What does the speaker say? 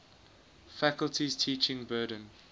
faculty's teaching burden